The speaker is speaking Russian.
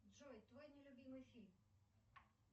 джой твой нелюбимый фильм